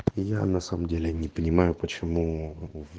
я на самом деле не понимаю почему в